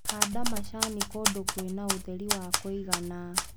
Handa macani kũndũ kwĩna ũtheri wa kũigana.